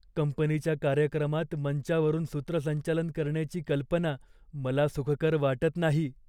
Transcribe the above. कंपनीच्या कार्यक्रमात मंचावरून सूत्रसंचालन करण्याची कल्पना मला सुखकर वाटत नाही.